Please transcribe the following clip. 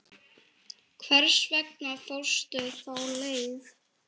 Hvers vegna fórstu þá leið?